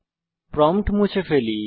prompt মুছে ফেলি